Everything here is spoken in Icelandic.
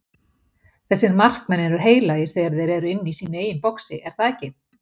Þessir markmenn eru heilagir þegar þeir eru inni í sínu eigin boxi, er það ekki?